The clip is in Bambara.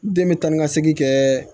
Den bɛ tan ni ka segin kɛ